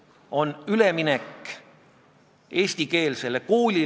Komisjoni esimees tegi ettepaneku eelnõu esimesel lugemisel tagasi lükata.